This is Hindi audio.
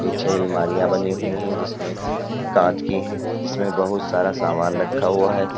पीछे अलमारियां बनी हुई है जिसमें कांच की है इसमें बहुत सारा सामान रखा हुआ है।